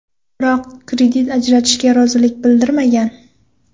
Biroq kredit ajratishga rozilik bildirmagan.